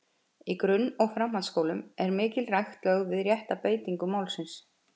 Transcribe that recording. Í grunn- og framhaldsskólum er mikil rækt lögð við rétta beitingu málsins.